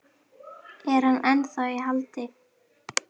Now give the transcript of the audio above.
Er hann ennþá í haldi?